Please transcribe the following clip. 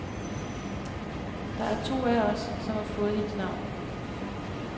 Der er to af os, som har fået hendes navn.